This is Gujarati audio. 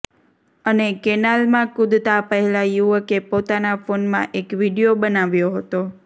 અને કેનાલમાં કૂદતાં પહેલાં યુવકે પોતાના ફોનમાં એક વીડિયો બનાવ્યો હતો